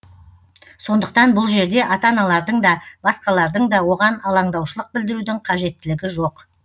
сондықтан бұл жерде ата аналардың да басқалардың да оған алаңдаушылық білдірудің қажеттілігі жоқ